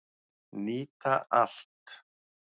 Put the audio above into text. Nýta allt